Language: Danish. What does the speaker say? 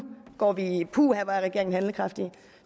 går vi i puha hvor er regeringen handlekraftig